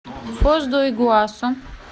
фос ду игуасу